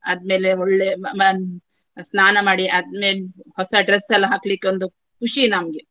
ಆದ್ಮೇಲೆ ಒಳ್ಳೆ ಮ~ ಸ್ನಾನ ಮಾಡಿ ಆದ್ಮೆ~ ಹೊಸ dress ಎಲ್ಲಾ ಹಾಕ್ಲಿಕ್ಕೆ ಒಂದು ಖುಷಿ ನಮ್ಗೆ.